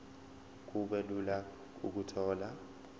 kube lula ukuthola